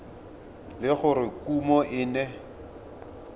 le gore kumo e ne